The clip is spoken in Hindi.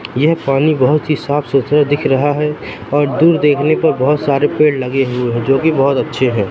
यह पानी बहुत ही साफ-सुथरा दिख रहा है और दूर देखने पर बहुत सारे पेड़ लगे हुए हैं जो की बहुत अच्छे हैं।